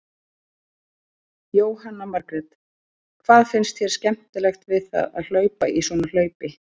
Jóhanna Margrét: Hvað finnst þér skemmtilegt við það að hlaupa í svona hlaupi?